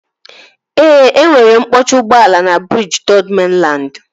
Ee, enwere mkpọchi ụgbọala na briji Third Mainland